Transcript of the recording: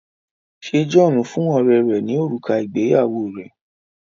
ṣe John fún ọrẹ rè ní òrùka ìgbéyàwó rẹ?